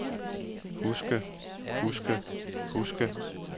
huske huske huske